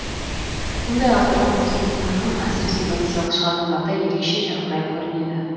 мұндай авторлық өзіндік таным әсіресе поэзиялық шығармаларда ерекше жарқырай көрінеді